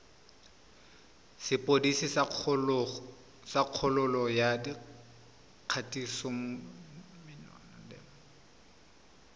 sepodisi sa kgololo ya kgatisomenwa